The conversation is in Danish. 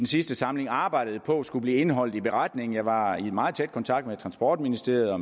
sidste samling arbejdede på skulle blive indholdet i beretningen jeg var i meget tæt kontakt med transportministeriet og